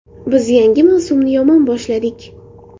Biz yangi mavsumni yomon boshladik.